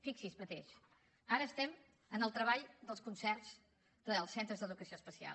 fixi’s mateix ara estem en el treball dels concerts dels centres d’educació especial